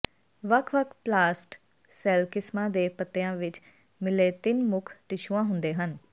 ਵੱਖ ਵੱਖ ਪਲਾਸਟ ਸੈਲ ਕਿਸਮਾਂ ਦੇ ਪੱਤਿਆਂ ਵਿੱਚ ਮਿਲੇ ਤਿੰਨ ਮੁੱਖ ਟਿਸ਼ੂਆਂ ਹੁੰਦੇ ਹਨ